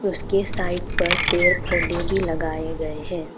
उसके साइट पर पर पौधे भी लगाए गए हैं।